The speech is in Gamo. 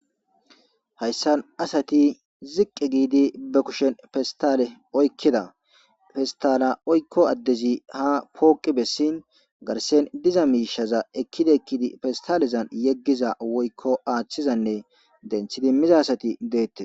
Haysan asati ziqi giidi ba kushen pestale oykida pestala oykko adezi ha poqi besin garsen diza miishaza ekidi ekidi pestalezan yegiza woyko athizanne dentidi miza asati de'etes.